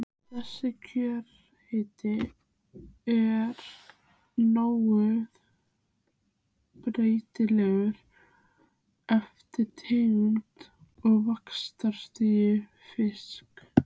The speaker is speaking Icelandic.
Þessi kjörhiti er nokkuð breytilegur eftir tegund og vaxtarstigi fisksins.